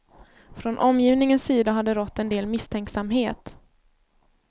Från omgivningens sida har det rått en del misstänksamhet.